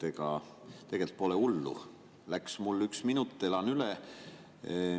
Ega tegelikult pole hullu, läks üks minut, elan üle.